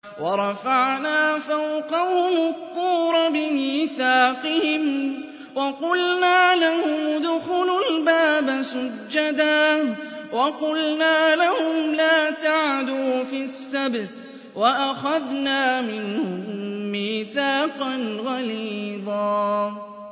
وَرَفَعْنَا فَوْقَهُمُ الطُّورَ بِمِيثَاقِهِمْ وَقُلْنَا لَهُمُ ادْخُلُوا الْبَابَ سُجَّدًا وَقُلْنَا لَهُمْ لَا تَعْدُوا فِي السَّبْتِ وَأَخَذْنَا مِنْهُم مِّيثَاقًا غَلِيظًا